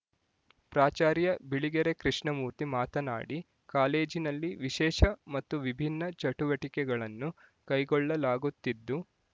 ಪ್ರಾಚಾರ್ಯ ಬಿಳಿಗೆರೆ ಕೃಷ್ಣಮೂರ್ತಿ ಮಾತನಾಡಿ ಕಾಲೇಜಿನಲ್ಲಿ ವಿಶೇಷ ಮತ್ತು ವಿಭಿನ್ನ ಚಟುವಟಿಕೆಗಳನ್ನು ಕೈಗೊಳ್ಳಲಾಗುತ್ತಿದ್ದು